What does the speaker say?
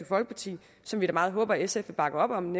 folkeparti som vi da meget håber at sf vil bakke op om